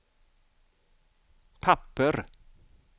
papper